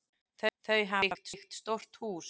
Þau hafa byggt stórt hús.